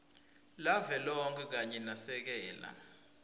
lavelonkhe kanye nasekela